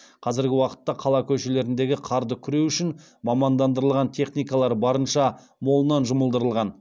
қазіргі уақытта қала көшелеріндегі қарды күреу үшін мамандандырылған техникалар барынша молынан жұмылдырылған